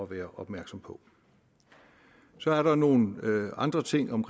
være opmærksom på så er der nogle andre ting om